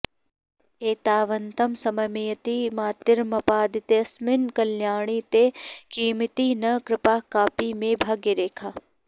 एतावन्तं समयमियतीमार्तिमापादितेऽस्मिन् कल्याणी ते किमिति न कृपा कापि मे भाग्यरेखा